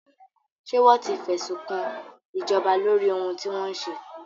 Ṣé wọ́n ti fẹ́sùnkan ìjọba lóri ohun tí wọ́n ṣe?